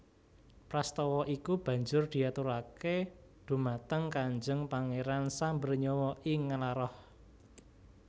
Prastowo iku banjur diaturake dumateng Kanjeng Pangeran Sambernyawa ing Nglaroh